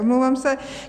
Omlouvám se.